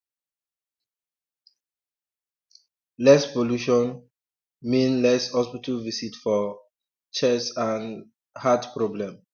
less pollution um mean less hospital visit for um chest and um heart problem